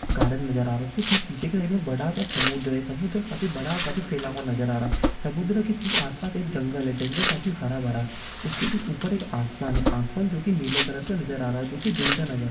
garden नजर आ रहा है उसके ठीक पीछे की बड़ा-सा समुद्र है| समुद्र काफी बड़ा और काफी फैला हुआ नज़र आ रहा है| समुद्र के ठीक आस-पास एक जंगल है| जंगल काफी हरा-भरा उसके ठीक ऊपर एक आसमान है आसमान जो की नीले कलर का नजर आ रहा है जो की दिन का नजर --